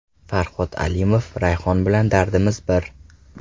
Farhod Alimov: Rayhon bilan dardimiz bir.